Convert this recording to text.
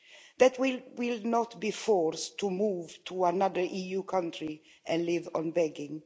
that we will not be forced to move to another EU country and live on begging